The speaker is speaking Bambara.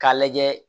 K'a lajɛ